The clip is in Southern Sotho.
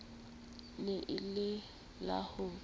ne e le la ho